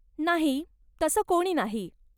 नाही, तसं कोणी नाही.